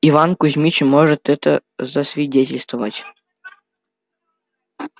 иван кузьмич может это засвидетельствовать